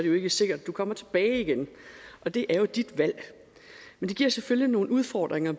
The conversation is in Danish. jo ikke sikkert at du kommer tilbage igen og det er jo dit valg men det giver selvfølgelig nogle udfordringer